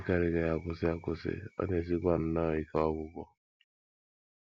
Ọ dịkarịghị akwụsị akwụsị, ọ na - esikwa nnọọ ike ọgwụgwọ.